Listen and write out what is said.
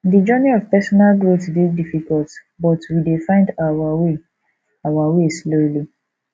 di journey of personal growth dey difficult but we dey find our way our way slowly